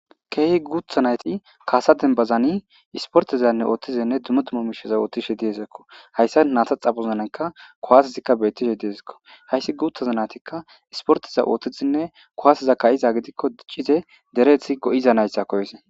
keehi guutha nayti kaasa denbazani isportezanne ooththizenne dumotuma miishaza oothtishe diezekko hayssa naata xabuzananka kuwasezikka beettishe diezekko hayssi guuthaza naytikka isporteza ooththizinne kuwaaseza ka7iza gidikko diccize derethi go7iza nayssa koyise